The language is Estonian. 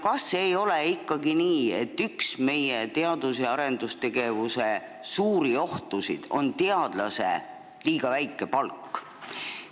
Kas ei ole ikkagi nii, et üks meie teadus- ja arendustegevuse suuri ohtusid on teadlase liiga väike palk?